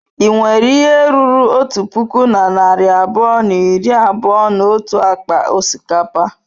Ị nwere ihe ruru otu puku na narị abụọ na iri abụọ na otu akpa osikapa?